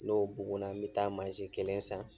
N'o buguna, n bɛ taa kelen san.